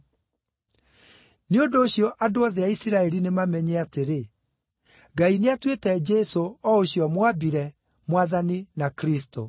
“Nĩ ũndũ ũcio andũ othe a Isiraeli nĩmamenye atĩrĩ: Ngai nĩ atuĩte Jesũ, o ũcio mwambire, Mwathani na Kristũ.”